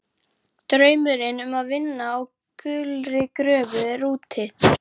Draumurinn um að vinna á gulri gröfu er úti.